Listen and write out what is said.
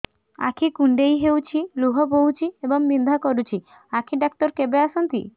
ଆଖି କୁଣ୍ଡେଇ ହେଉଛି ଲୁହ ବହୁଛି ଏବଂ ବିନ୍ଧା କରୁଛି ଆଖି ଡକ୍ଟର କେବେ ଆସନ୍ତି